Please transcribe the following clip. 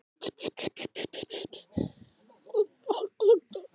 Ásgeir Erlendsson: Hver eru næstu skref lögreglunnar í þessu máli?